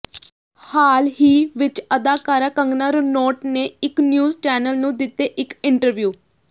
ਹਾਲ ਹੀ ਵਿੱਚ ਅਦਾਕਾਰਾ ਕੰਗਨਾ ਰਣੌਤ ਨੇ ਇੱਕ ਨਿਉਜ਼ ਚੈਨਲ ਨੂੰ ਦਿੱਤੇ ਇੱਕ ਇੰਟਰਵਿਉ